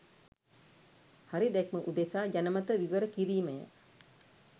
හරි දැක්ම උදෙසා ජනමන විවරකිරීමය.